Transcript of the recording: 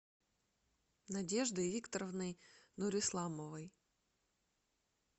надеждой викторовной нурисламовой